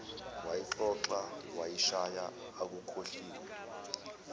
wayixoxa washiya akukhohliwe